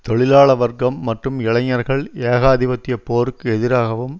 தொழிலாள வர்க்கம் மற்றும் இளைஞர்கள் ஏகாதிபத்திய போருக்கு எதிராகவும்